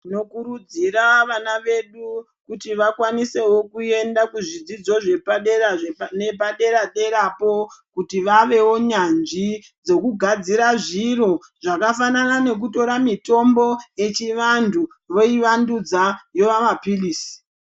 Tinokurudzira vana vedu kuti vakwanisewo kuenda kuzvidzidzo zvepadera nedera derapo kuti vavewo nyanzvi dzokugadzadzira zviro zvakafanana nekutora mitombo yechiantu oivandudza yova maphirizi.